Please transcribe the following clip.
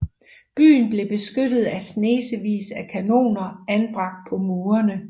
Byen blev beskyttet af snesevis af kanoner anbragt på murene